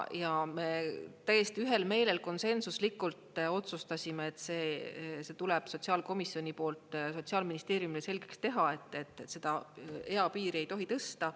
Ja me täiesti ühel meelel konsensuslikult otsustasime, et see tuleb sotsiaalkomisjoni poolt Sotsiaalministeeriumile selgeks teha, et seda eapiiri ei tohi tõsta.